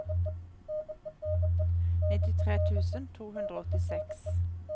nittitre tusen to hundre og åttiseks